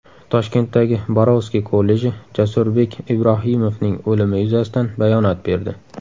Toshkentdagi Borovskiy kolleji Jasurbek Ibrohimovning o‘limi yuzasidan bayonot berdi .